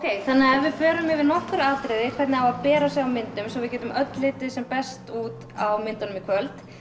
ef við förum yfir nokkur atriði hvernig á að bera sig á myndum svo við getum öll litið sem best út á myndunum í kvöld